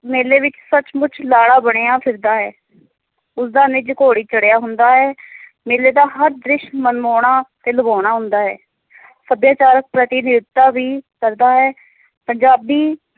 ਮੇਲੇ ਵਿੱਚ ਸੱਚ-ਮੁੱਚ ਲਾੜਾ ਬਣਿਆ ਫਿਰਦਾ ਹੈ ਉਸ ਦਾ ਨਿਜ ਘੋੜੀ ਚੜਿਆ ਹੁੰਦਾ ਹੈ ਮੇਲੇ ਦਾ ਹਰ ਦ੍ਰਿਸ ਮਨਮੋਹਣਾ ਤੇ ਲੁਭਾਉਣਾ ਹੁੰਦਾ ਹੈ ਸੱਭਿਆਚਾਰਿਕ ਪ੍ਰਤੀ-ਨਿਧਤਾ ਵੀ ਕਰਦਾ ਹੈ ਪੰਜਾਬੀ